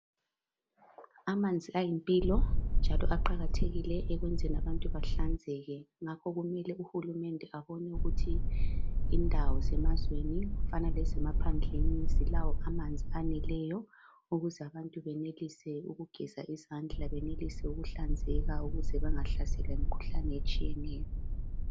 Amanzi ayimpilo njalo aqakathekile ekwenzeni abantu bahlanzeke ngakho kumele uhulumende abone ukuthi indawo zemazweni okufana lezemaphandleni zilawo amanzi aneleyo ukuze abantu benelise ukugeza izandla benelise ukuhlanzeka ukuze bangahlaselwa yimikhuhlane etshiyeneyo.